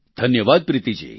ધન્યવાદ પ્રીતિ જી